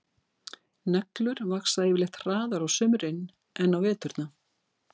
Neglur vaxa yfirleitt hraðar á sumrin en á veturna.